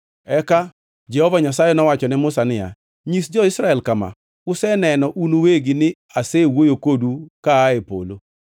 Eka Jehova Nyasaye nowacho ne Musa niya, “Nyis jo-Israel kama: ‘Useneno un uwegi ni asewuoyo kodu ka aa e polo.